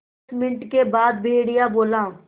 दस मिनट के बाद भेड़िया बोला